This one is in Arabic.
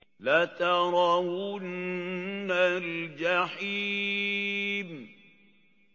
لَتَرَوُنَّ الْجَحِيمَ